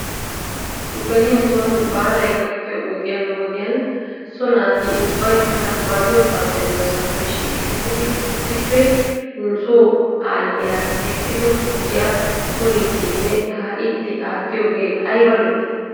Beni nuson baalay gakkiyoo wodiyan wodiyan so naati ubbaykka ba diyoosaappe diyoosaappe shiiqettidi issippe nuso aayiyaa essido tukkiyaa uyiiddnne kaa'iiddi aattiyoogee ayba lo'ii?